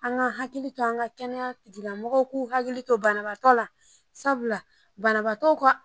An k'an hakili to an ka kɛnɛya tigilamɔgɔw k'u hakili to banabagatɔ la sabula banabagatɔ